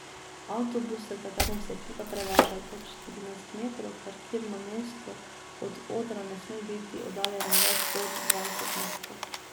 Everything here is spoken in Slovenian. Avtobus, s katerim se ekipa prevaža, je dolg štirinajst metrov, parkirno mesto od odra ne sme biti oddaljeno več kot dvajset metrov.